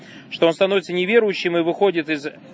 что он становится неверующим и выходит из